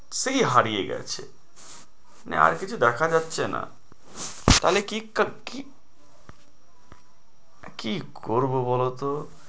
সেই হারিয়ে গেছে আর কিছু দেখা যাচ্ছে না তাহলে কি কি কি করবো বলোতো?